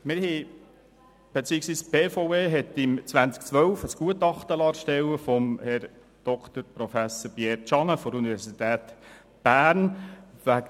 Die BVE liess 2012 wegen der Kostentragungspflicht zur Sanierung der Brücke ein Gutachten von Herrn Prof. Dr. Pierre Tschannen von der Universität Bern erstellen.